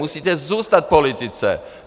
Musíte zůstat v politice!